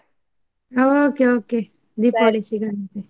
ಹಾ okay, okay ಸಿಗೋಣಂತೆ.